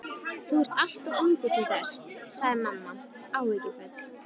Þú ert allt of ungur til þess sagði mamma áhyggjufull.